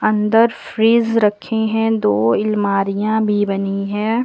अंदर फ्रिज रखे हैं। दो इलमारिया भी बनी हैं।